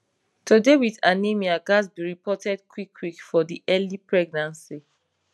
to dey wit anemia ghats be reported quick quick for de early pregnancy